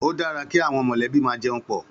Ó dàrá ki áwòn mòlèbí mà jèún pò